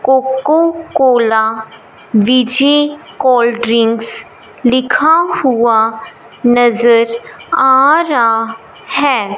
Coca Cola cold drinks लिखा हुआ नजर आ रहा है।